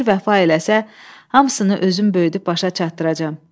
Ömür vəfa eləsə, hamısını özüm böyüdüb başa salaram.